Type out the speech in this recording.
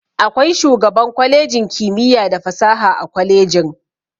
Akwai shugaban kwalejin kimiyya da fasaha a kwalejin.